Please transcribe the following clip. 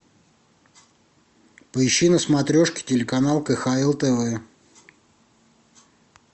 поищи на смотрешке телеканал кхл тв